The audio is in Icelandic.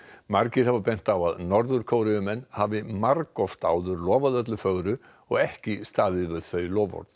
margir hafa bent á að Norður Kóreumenn hafi margoft áður lofað öllu fögru og ekki staðið við þau loforð